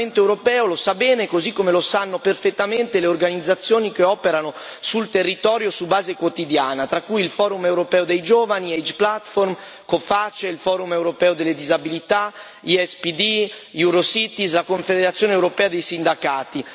Il Parlamento europeo lo sa bene, così come lo sanno perfettamente le organizzazioni che operano sul territorio, su base quotidiana, tra cui il Forum europeo dei giovani, Age Platform, Coface, il Forum europeo delle disabilità, ISPD, Eurocities, la Confederazione europea dei sindacati.